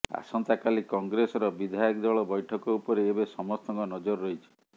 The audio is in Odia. ଆସନ୍ତାକାଲି କଂଗ୍ରେସର ବିଧାୟକ ଦଳ ବ୘ଠକ ଉପରେ ଏବେ ସମସ୍ତଙ୍କ ନଜର ରହିଛି